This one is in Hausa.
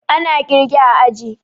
Ana kirge a aji